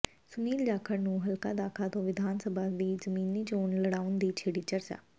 ਸੁਨੀਲ ਜਾਖੜ ਨੂੰ ਹਲਕਾ ਦਾਖਾ ਤੋਂ ਵਿਧਾਨ ਸਭਾ ਦੀ ਜ਼ਿਮਨੀ ਚੋਣ ਲੜਾਉਣ ਦੀ ਛਿੜੀ ਚਰਚਾ